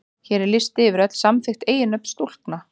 Hér er listi yfir öll samþykkt eiginnöfn stúlkna.